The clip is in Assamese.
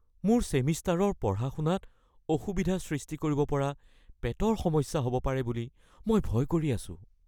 মোৰ ছেমিষ্টাৰৰ পঢ়া-শুনাত অসুবিধা সৃষ্টি কৰিব পৰা পেটৰ সমস্যা হ’ব পাৰে বুলি মই ভয় কৰি আছোঁ।